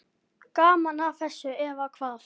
Gaman að þessu, eða hvað?